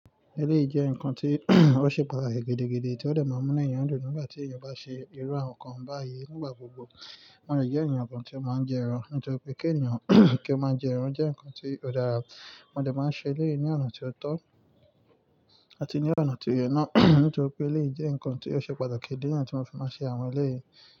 Eleeyi jé n nǹkan tí ó ṣe pàtàkì gidi, tí ó máa ń mú ènìyàn dùn nígbà tí ènìyàn bá ṣe irú àwọn nǹkan báyìí. Nígbà gbogbo wọ́n yóò jẹ́ ènìyàn kan tí ó máa ń jẹ ẹran. Nítorí pé kí ènìyàn kí ó máa jẹ ẹran jẹ́ nǹkan tí ó dára. Mo dè máa ń ṣe ilé yìí ní ọ̀nà tí ó tọ́ àti ní ọ̀nà tí ó yẹ ná. Nítorí pé eleyii jẹ́ nǹkan tí ó ṣe pàtàkì. Ìdí nìyen ti mo ń fi máa ń ṣe àwọn ilé yìí.